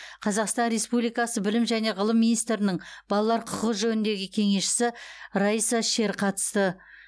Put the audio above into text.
қазақстан республикасы білім және ғылым министрінің балалар құқығы жөніндегі кеңесшісі райса шер қатысты